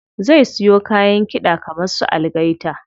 Zai siyo kayan kiɗa kaman su algaita.